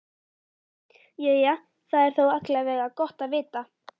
Jæja, það er þó alla vega gott að vita.